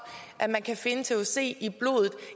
at man kan finde thc i blodet